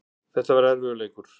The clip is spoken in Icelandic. En þetta var erfiður leikur